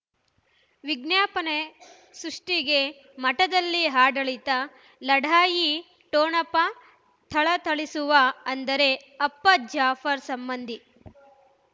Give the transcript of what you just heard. ವಿಜ್ಞಾಪನೆ ಸೃಷ್ಟಿಗೆ ಮಠದಲ್ಲಿ ಆಡಳಿತ ಲಢಾಯಿ ಠೊಣಪ ಥಳಥಳಿಸುವ ಅಂದರೆ ಅಪ್ಪ ಜಾಫರ್ ಸಂಬಂಧಿ